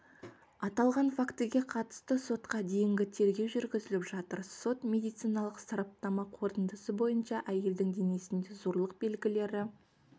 аталған фактіге қатысты сотқа дейінгі тергеу жүргізіліп жатыр сот-медициналық сараптама қорытындысы бойынша әйелдің денесінде зорлық белгілері